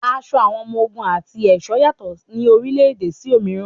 Aṣọ àwọn ọmọ ogun àti ẹ̀ṣọ́ yàtọ̀ ní orílẹ̀-ẹ̀dẹ̀ sí òmíràn.